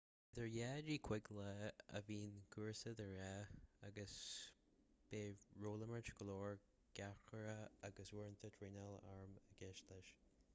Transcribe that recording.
idir 2-5 lá a bhíonn cúrsa de ghnáth agus beidh rólimirt go leor garchabhrach agus uaireanta traenáil airm i gceist leis